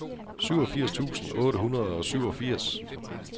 syvogfirs tusind otte hundrede og syvogfirs